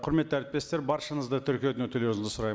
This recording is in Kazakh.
құрметті әріптестер баршаңызды тіркеуден өтулеріңізді сұраймын